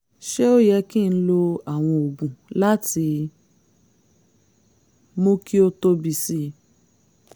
ṣé ó yẹ kí n lo àwọn oògùn láti mú kí ó tóbi sí i?